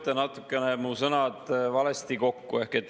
Te seote mu sõnu natukene valesti kokku.